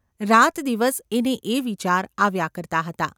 રાતદિવસ એને એ વિચાર આવ્યા કરતા હતા.